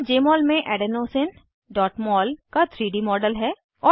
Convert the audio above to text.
यहाँ जमोल में adenosineमोल का 3डी मॉडल है